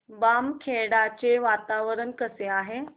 बामखेडा चे वातावरण कसे आहे